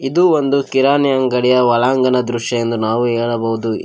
ಇದು ಒಂದು ಕಿರಾಣಿ ಅಂಗಡಿಯ ಒಳಾಂಗಣ ದೃಶ್ಯ ಎಂದು ನಾವು ಹೇಳಬಹುದು.